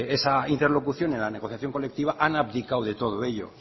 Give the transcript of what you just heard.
esa interlocución en la negociación colectiva han abdicado de todo ello